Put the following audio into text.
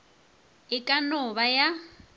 e ka no ba ya